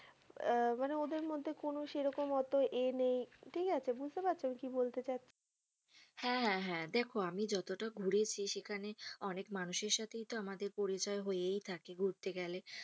আহ মানে ওদের মধ্যে কোনো সেরকম আত এ নেই ঠিক আছে বুঝতে পারছো আমি কি বলতে চাচ্ছি হ্যা হ্যা হ্যা দেখো আমি যতটা ঘুরেছি সেখানে অনেক মানুষের সাথেই তো আমাদের পরিচয় হয়েয় থাকে ঘুরতে গেলে,